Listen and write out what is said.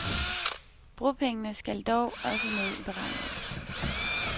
Bropengene skal dog også med i beregningerne.